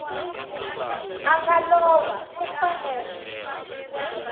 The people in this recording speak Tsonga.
a nga lova u fanele